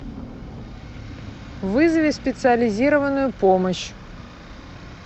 вызови специализированную помощь